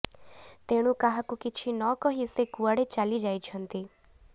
ତେଣୁ କାହାକୁ କିଛି ନ କହି ସେ କୁଆଡ଼େ ଚାଲି ଯାଇଛନ୍ତି